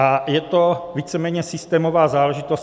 A je to víceméně systémová záležitost.